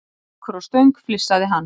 Gaukur á Stöng, flissaði hann.